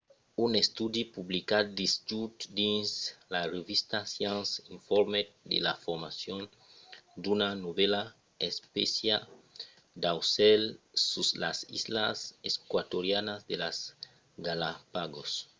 un estudi publicat dijòus dins la revista science informèt de la formacion d’una novèla espécia d’aucèls sus las islas eqüatorianas de las galápagos